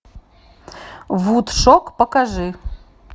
вудшок покажи